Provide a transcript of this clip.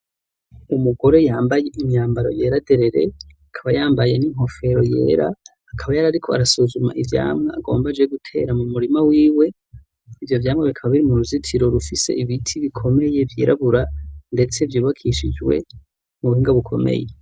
Umugore yambaye imyambaro yera derere. Akaba yambaye n'inkofero yera, akaba yari ariko arasuzuma ivyamwa agomba aje gutera mu murima wiwe. Ivyo vyamwa bikaba biri mu ruzitiro rufise ibiti bikomeye vyirabura ndetse vyubakishijwe mu buhinga bukomeye.